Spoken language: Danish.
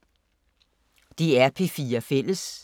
DR P4 Fælles